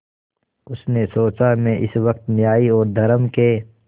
उसने सोचा मैं इस वक्त न्याय और धर्म के